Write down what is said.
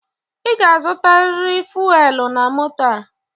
I ga-azutaririr fuelu na moto a!